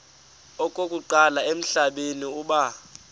okokuqala emhlabeni uba